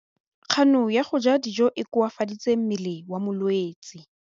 Kganô ya go ja dijo e koafaditse mmele wa molwetse.